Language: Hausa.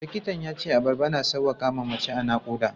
Likitan ya ce abarba na sauƙaƙa wa mace a naƙuda.